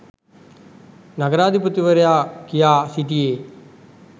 නගරාධිපතිවරයා කියා සිටියේ